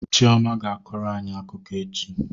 Chioma ga-akọrọ anyị akụkọ echi